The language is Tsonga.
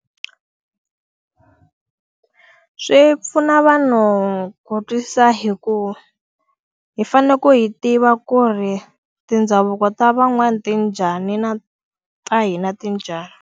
Swi pfuna vanhu ku twisisa hikuva, hi fanele ku hi tiva ku ri mindhavuko ta van'wana ti njhani na ta hi na ti njhani.